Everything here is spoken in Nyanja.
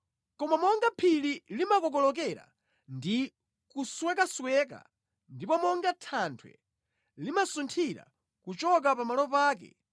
“Koma monga phiri limakokolokera ndi kuswekasweka ndipo monga thanthwe limasunthira kuchoka pa malo ake,